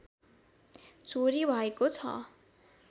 चोरी भएको छ